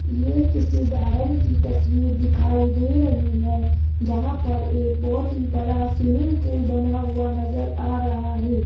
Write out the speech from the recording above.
ये किसी गार्डन की तस्वीर दिखाई दे रही है जहां पर एक बहोत ही बड़ा स्विमिंग पूल बना हुआ नजर आ रहा है।